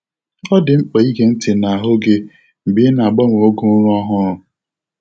Ọ dị mkpa ịge ntị n'ahụ gị mgbe ị na-agbanwe oge ụra ọhụrụ.